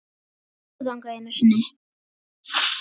Ég fór þangað einu sinni.